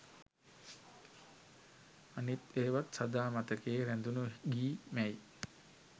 අනිත් ඒවත් සදා මතකයේ රැඳුන ගී මැයි